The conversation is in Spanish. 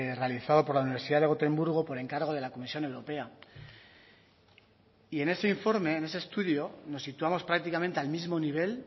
realizado por la universidad de gotemburgo por encargo de la comisión europea y en ese informe en ese estudio nos situamos prácticamente al mismo nivel